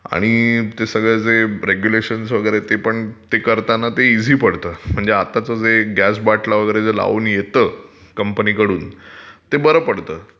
आणि ते सगळं रुल्स रेग्युलेशन ते पण ते करताना पण इझी पडतं आताचं जे गॅस बाटला वगैरे जे लाऊन येत कंपनीकडून ते बरं पडतं.